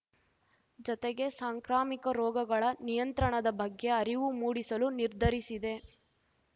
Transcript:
ಜತೆಗೆ ಸಾಂಕ್ರಾಮಿಕ ರೋಗಗಳ ನಿಯಂತ್ರಣದ ಬಗ್ಗೆ ಅರಿವು ಮೂಡಿಸಲು ನಿರ್ಧರಿಸಿದೆ